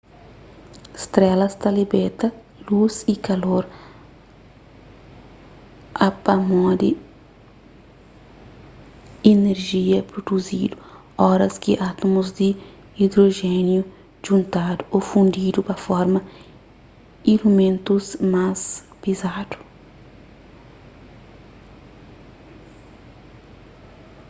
strelas ta libeta lus y kalor upamodi inerjia pruduzidu oras ki átmus di idrojéniu djuntadu ô fundidu pa forma ilimentus más pizadu